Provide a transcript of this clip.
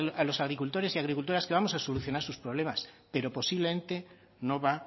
a los agricultores y agricultoras que vamos a solucionar sus problemas pero posiblemente no va